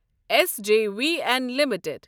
S J V N limited